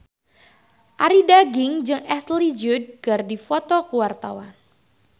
Arie Daginks jeung Ashley Judd keur dipoto ku wartawan